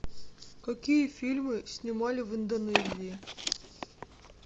какие фильмы снимали в индонезии